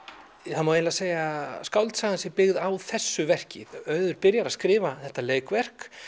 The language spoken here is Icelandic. það má eiginlega segja að skáldsagan sé byggð á þessu verki auður byrjar að skrifa þetta leikverk